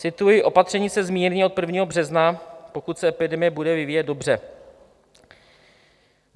Cituji: Opatření se zmírní od 1. března, pokud se epidemie bude vyvíjet dobře.